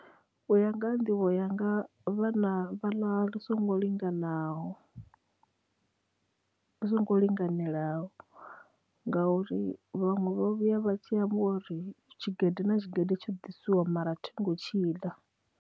U ya nga ha nḓivho yanga vhana vha ḽa lu songo linganaho, vhu songo linganelaho ngauri vhaṅwe vha vhuya vha tshi amba uri tshigede na tshigede tsho ḓisiwa mara thi ngo tshi ḽa.